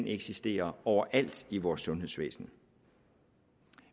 eksisterer overalt i vores sundhedsvæsen